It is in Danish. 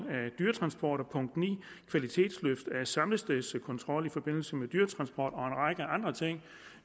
af dyretransporter og punkt ni som kvalitetsløft af samlestedskontrol i forbindelse med dyretransport og en række andre ting